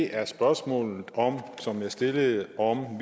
er spørgsmålet som jeg stillede om